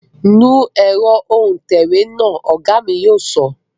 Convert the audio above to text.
Nu ẹ̀rọ òǹtẹ̀wé náà, Ọ̀gá mi yóò sọ